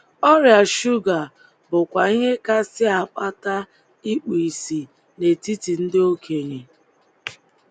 Ọrịa shuga bụkwa ihe kasị akpata ikpu ìsì n’etiti ndị okenye.